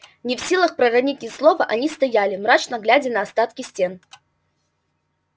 не в силах проронить ни слова они стояли мрачно глядя на остатки стен